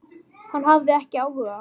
Hann hafði ekki áhuga.